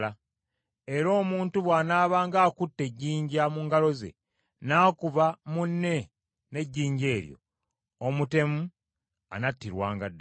Era omuntu bw’anaabanga akutte ejjinja mu ngalo ze, n’akuba munne n’ejjinja eryo, omutemu anattirwanga ddala.